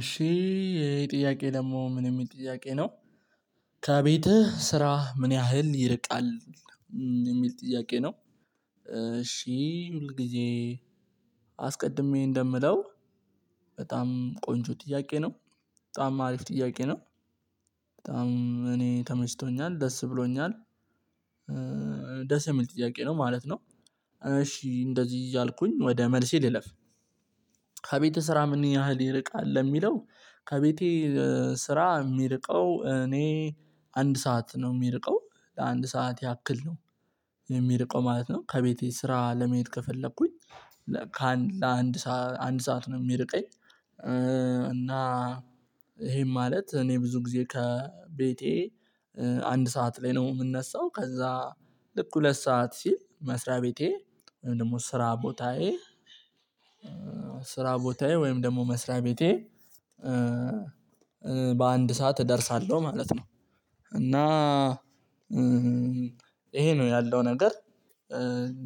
እሺ የጥያቄ ደግሞ ምን የሚል ጥያቄ ነው። ከቤትህ ስራህ ምን ያህል ይርቃል የሚል ጥያቄ ነው። እሺ ሁል ጊዜ። አስቀድሜ እንደምለው። በጣም ቆንጆ ጥያቄ ነው። በጣም አሪፍ ጥያቄ ነው። በጣም እኔ ተመሽቶኛል ደስ ብሎኛል። ደስ የሚል ጥያቄ ነው ማለት ነው። እሺ እንደዚህ እያልኩኝ ወደ መልሴ ልለፍ። ከቤት ስራ ምን ያህል ይርቃል ለሚለው ከቤቴ ስራ የሚርቀው እኔ አንድ ሰዓት ነው ሚርቀው ለአንድ ሰዓት ያክል ነው። የሚርቀው ማለት ነው ከቤቴ ስራ ለመሄድ ከፈለኩኝ አንድ ሰዓት ነው ሚርቀኝ። እና ይሄም ማለት እኔ ብዙ ጊዜ ከቤቴ አንድ ሰዓት ላይ ነው ምነሳው። ከዛ ልክ ሁለት ሰዓት ሲል መስሪያ ቤቴ ወይም ደግሞ ስራ ቦታዬ። ስራ ቦታዬ ወይም ደግሞ መስሪያ ቤቴ በአንድ ሰዓት እደርሳለሁ ማለት ነው። እና ይሄ ነው ያለው ነገር።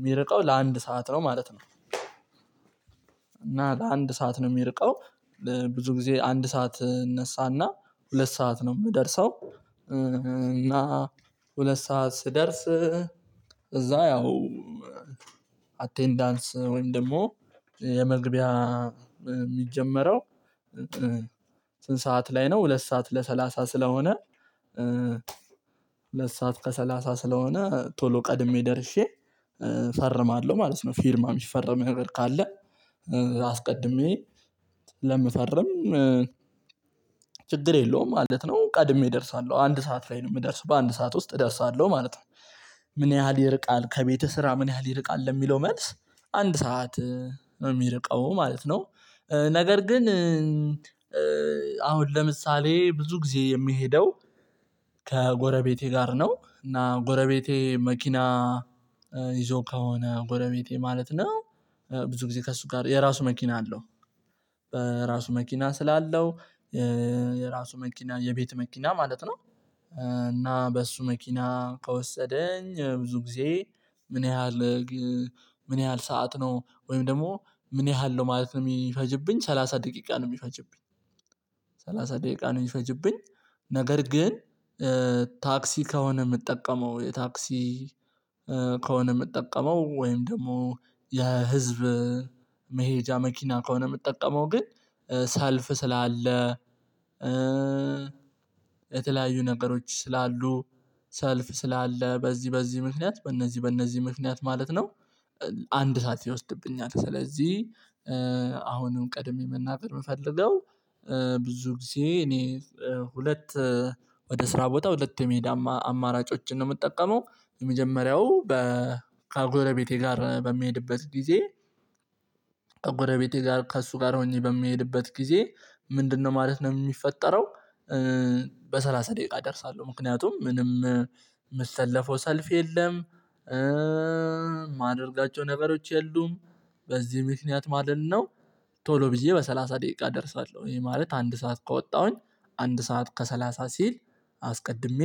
ሚርቀው ለአንድ ሰዓት ነው ማለት ነው። እና ለአንድ ሰዓት ነው ሚርቀው ብዙ ጊዜ አንድ ሰዓት እነሳና ሁለት ሰዓት ነው ምደርሰው። እና ሁለት ሰዓት ስደርስ እዛ ያው አቴንዳንስ ወይም ደግሞ የመግቢያ ሚጀመረው። ስንት ሰዓት ላይ ነው ሁለት ሰዓት ለሰላሳ ስለሆነ። ሁለት ሰዓት ከሰላሳ ስለሆነ ቶሎ ቀድሜ ደርሼ ፈርማለሁ ማለት ነው። ፊርማ ሚፈርመው ነገር ካለ አስቀድሜ ለምፈረም ችግር የለውም ማለት ነው። ቀድሜ እደርሳለሁ አንድ ሰዓት ላይ ነው ምደርሰው በአንድ ሰዓት ውስጥ እደርሳለሁ ማለት ነው። ምን ያህል ይርቃል? ከቤትህ ስራ ምን ያህል ይርቃል ለሚለው መልስ አንድ ሰዓት ነው ሚርቀው ማለት ነው። ነገር ግን አሁን ለምሳሌ ብዙ ጊዜ የሚሄደው ከጎረቤቴ ጋር ነው። እና ጎረቤቴ መኪና ይዞ ከሆነ ጎረቤቴ ማለት ነው። ብዙ ጊዜ ከእሱ ጋር የራሱ መኪና አለው። በራሱ መኪና ስላለው የራሱ መኪና የቤት መኪና ማለት ነው። እና በሱ መኪና ከወሰደኝ ብዙ ጊዜ ምን ያህል ምን ያህል ሰዓት ነው ወይም ደግሞ ምን ያህል ነው ማለት ነው ሚፈጅብኝ ሰላሳ ደቂቃ ነው ሚፈጅብኝ። ሰላሳ ደቂቃ ነው የሚፈጅብኝ። ነገር ግን ታክሲ ከሆነ ምጠቀመው የታክሲ ከሆነ ምጠቀመው ወይም ደግሞ የህዝብ መሄጃ መኪና ከሆነ ምጠቀመው ግን ሰልፍ ስላለ የተለያዩ ነገሮች ስላሉ ሰልፍ ስላለ በዚህ በዚህ ምክንያት በእነዚህ በእነዚህ ምክንያት ማለት ነው። አንድ ሰዓት ይወስድብኛል። ስለዚህ አሁንም ቀድሜ መናገር ምፈልገው ብዙ ጊዜ እኔ ሁለት ወደ ስራ ቦታ ሁለት የመሄድ አማራጮችን ነው ምጠቀመው። የመጀመሪያው ከጎረቤቴ ጋር በሚሄድበት ጊዜ ከጎረቤቴ ጋር ከእሱ ጋር ሆኜ በምሄድበት ጊዜ ምንድነው ማለት ነው ሚፈጠረው? በሰላሳ ደቂቃ እደርሳለሁ ምክንያቱም ምንም ምሰለፈው ሰልፍ የለም። ማደርጋቸው ነገሮች የሉም። በዚህ ምክንያት ማለት ነው። ቶሎ ብዬ በሰላሳ ደቂቃ እደርሳለሁ ይሄ ማለት አንድ ሰዓት ከወጣሁኝ አንድ ሰዓት ከሰላሳ ሲል አስቀድሜ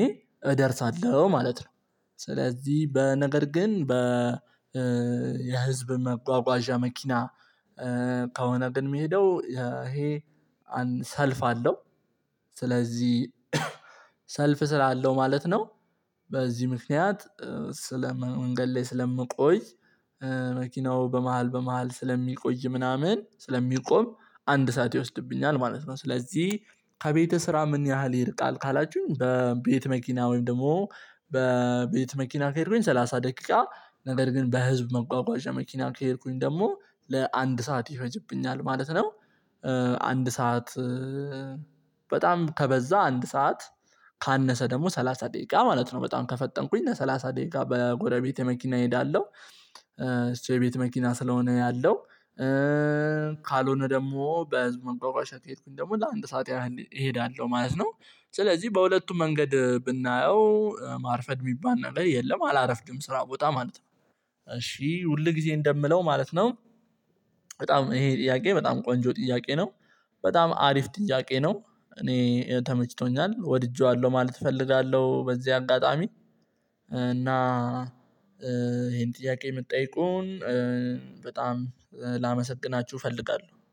ማለት ነው። ስለዚህ በነገር ግን በ የህዝብ መጓጓዣ መኪና ከሆነ ግን ምሄደው ይሄ ሰልፍ አለው። ስለዚህ ሰልፍ ስላለው ማለት ነው። በዚህ ምክንያት ስለ መንገድ ላይ ስለምቆይ መኪናው በመሃል በመሃል ስለሚቆይ ምናምን ስለሚቆም አንድ ሰዓት ይወስድብኛል። ማለት ነው። ስለዚህ ከቤተ ስራ ምን ያህል ይርቃል? ካላችሁኝ በቤት መኪና ወይም ደግሞ በቤት መኪና ከሄድኩኝ ሰላሳ ደቂቃ ነገር ግን በህዝብ መጓጓዣ መኪና ከሄድኩኝ ደግሞ ለአንድ ሰዓት ይፈጅብኛል ማለት ነው። አንድ ሰዓት በጣም ከበዛ አንድ ሰዓት ካነሰ ደግሞ ሰላሳ ደቂቃ ማለት ነው። በጣም ከፈጠንኩኝ ሰላሳ ደቂቃ በጎረቤቴ መኪና እሄዳለሁ። እስር ቤት መኪና ስለሆነ ያለው ካልሆነ ደግሞ በህዝብ መጓጓዣ ከሄድኩኝ ደግሞ ለአንድ ሰዓት ያህል እሄዳለሁ ማለት ነው። ስለዚህ በሁለቱ መንገድ ብናየው ማርፈድ ሚባል ነገር የለም አላረፍድም ስራ ቦታ ማለት ነው። እሺ ሁል ጊዜ እንደምለው ማለት ነው። በጣም ይሄ ጥያቄ በጣም ቆንጆ ጥያቄ ነው። በጣም አሪፍ ጥያቄ ነው። እኔ ተመችቶኛል ወድጄዋለሁ ማለት እፈልጋለሁ በዚህ አጋጣሚ እና ይሄን ጥያቄ ምትጠይቁን በጣም ላመሰግናችሁ እፈልጋለሁ